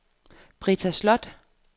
Britta Slot